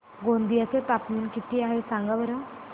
गोंदिया चे तापमान किती आहे सांगा बरं